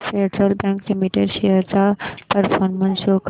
federal Bank Limited shares चा performance show कर